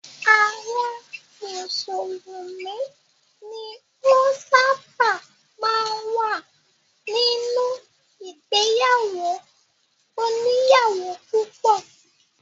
Àwọn mùsùlùmí ni ó ṣábà máa ń wà nínú ìgbéyàwó òníyàwó púpọ̀.